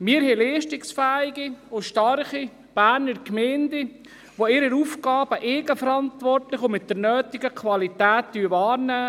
Die Berner Gemeinden sind leistungsfähig und stark, und sie nehmen ihre Aufgaben eigenverantwortlich und mit der nötigen Qualität wahr.